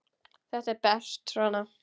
Þetta er best svona.